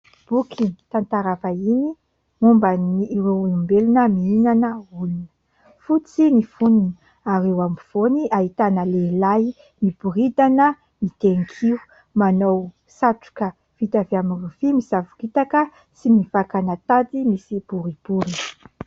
Boky tantara vahiny momban'ireo ombelona mihinana olona. Fotsy ny fonony ary eo ampovoany ahitana lehilahy miboridana mitehin-kio, manao satroka vita avy amin'ny rofia, misavoritaka sy mivakana tady misy boribory.